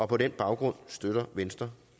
på den baggrund støtter venstre